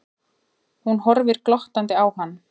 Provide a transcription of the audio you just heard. Hún horfir glottandi á hann.